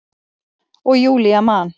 Og Júlía man.